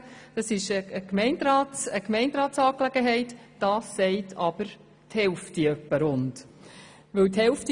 Wenn wir sagen, es handle sich um eine Gemeinderatsangelegenheit, ist dies die Meinung von etwa rund der Hälfte.